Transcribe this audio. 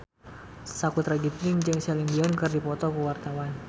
Sakutra Ginting jeung Celine Dion keur dipoto ku wartawan